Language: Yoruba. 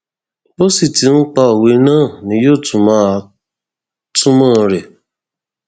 bó sì ti ń pa òwe náà ni yóò tún máa túmọ rẹ